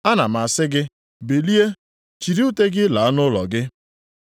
“Ana m asị gị, bilie, chịrị ute gị laa nʼụlọ gị.”